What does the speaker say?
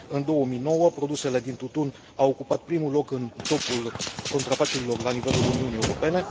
În 2009, produsele din tutun au ocupat primul loc în topul contrafacerilor la nivelul Uniunii Europene.